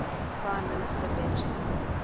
prime minister benjamin